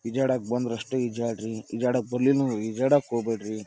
ಈಜಾಡಾಕ್ ಬಂದ್ರಷ್ಟ ಈಜಾಡ್ರಿ ಈಜಾಡಾಕ್ ಬರ್ಲಿಲ್ಲಂದ್ರ ಈಜಾಡಾಕ್ ಹೋಗ್ಬ್ಯಾಡ್ರಿ.